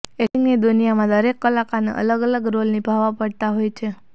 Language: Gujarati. એક્ટિંગની દુનિયામાં દરેક કલાકારને અલગ અલગ રોલ નિભાવવા પડતા હોય છે